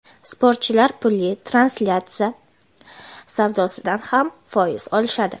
sportchilar pulli translyatsiyalar savdosidan ham foiz olishadi.